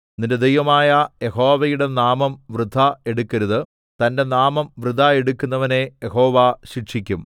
നിന്റെ ദൈവമായ യഹോവയുടെ നാമം വൃഥാ എടുക്കരുത് തന്റെ നാമം വൃഥാ എടുക്കുന്നവനെ യഹോവ ശിക്ഷിക്കും